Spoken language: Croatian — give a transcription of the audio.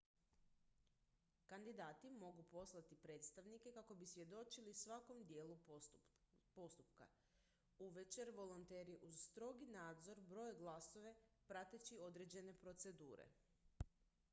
kandidati mogu poslati predstavnike kako bi svjedočili svakom dijelu postupka uvečer volonteri uz strogi nadzor broje glasove prateći određene procedure